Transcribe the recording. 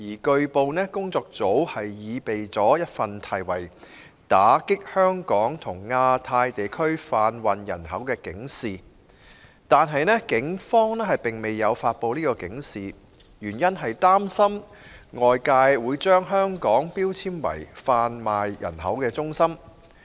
據報，工作組擬備了一份題為《打擊香港和亞太地區販運人口》的警示，但警方未有發布該警示，原因是擔心外界會把香港標籤為販運人口中心。